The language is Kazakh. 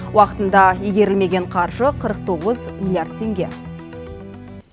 уақытында игерілмеген қаржы қырық тоғыз миллиард теңге